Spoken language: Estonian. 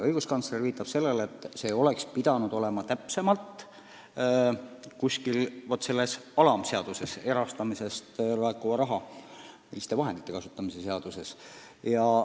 Õiguskantsler viitab sellele, et see oleks pidanud olema täpsemalt kirjas kuskil sellekohases alamseaduses ehk erastamisest laekuva raha kasutamise seaduses.